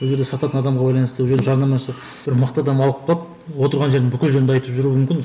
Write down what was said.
бұл жерде сататын адамға байланысты ол жерде жарнамасы бір мықты адам алып қалып отырған жері бүкіл жерінде айтып жүруі мүмкін